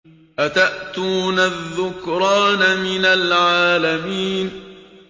أَتَأْتُونَ الذُّكْرَانَ مِنَ الْعَالَمِينَ